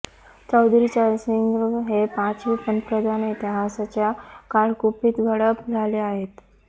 चौधरी चरणसिंग हे पाचवे पंतप्रधान इतिहासाच्या काळकुपीत गडप झाले आहेत